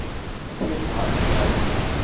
steeds hard bly